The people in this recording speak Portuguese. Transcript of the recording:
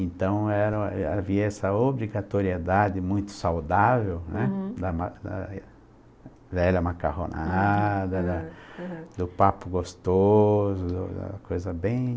Então era, havia essa obrigatoriedade muito saudável né, hm, da velha macarronada, da uhum uhumdo papo gostoso, coisa bem...